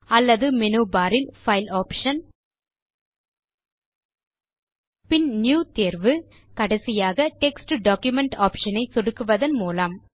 அல்லது menu bar இல் file option பின் நியூ தேர்வு கடைசியாக டெக்ஸ்ட் டாக்குமென்ட் ஆப்ஷன் ஐ சொடுக்குவதன் மூலம்